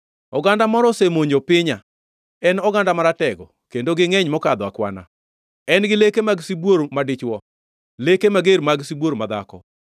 Oganda moro osemonjo pinya, en oganda maratego kendo gingʼeny mokadho akwana; en gi leke mag sibuor madichwo, leke mager mag sibuor madhako.